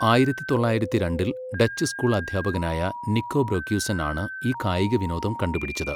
ആയിരത്തി തൊള്ളായിരത്തി രണ്ടിൽ ഡച്ച് സ്കൂൾ അദ്ധ്യാപകനായ നിക്കോ ബ്രൊക്യുസെൻ ആണ് ഈ കായിക വിനോദം കണ്ടുപിടിച്ചത്.